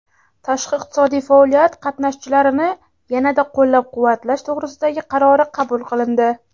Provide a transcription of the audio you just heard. tashqi iqtisodiy faoliyat qatnashchilarini yanada qo‘llab-quvvatlash to‘g‘risidagi qarori qabul qilindi.